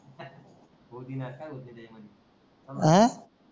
आ